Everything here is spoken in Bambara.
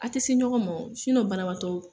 A tɛ se ɲɔgɔn ma banabatɔ